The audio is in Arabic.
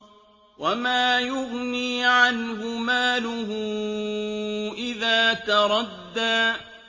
وَمَا يُغْنِي عَنْهُ مَالُهُ إِذَا تَرَدَّىٰ